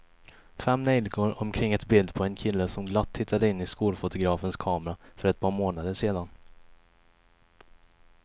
Fem neljikor omkring ett bild på en kille som glatt tittade in i skolfotografens kamera för ett par månader sedan.